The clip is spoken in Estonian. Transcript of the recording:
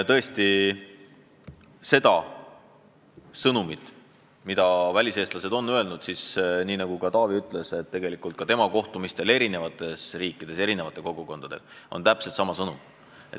Mis puutub väliseestlaste sõnumisse, siis nagu Taavi ütles, temagi kohtumistel eestlaste kogukondadega eri riikides on see täpselt seesama.